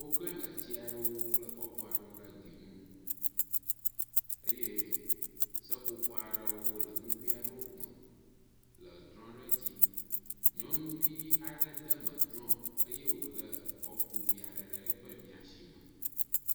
wó klē gatsiaɖewo kple kɔpuaɖewo ɖe gli nu eye seƒoƒo aɖewo le ŋuguiaɖewo me le drɔ̃ɖe dzi nyɔŋuvi aɖe déme drɔ̃ eye wòle kɔpu viaɖe ɖe eƒe miasi me